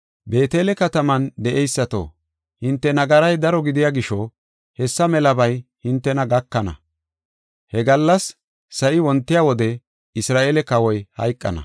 Beetele kataman de7eysato, hinte nagaray daro gidiya gisho hessa melabay hintena gakana. He gallas sa7i wontiya wode Isra7eele kawoy hayqana.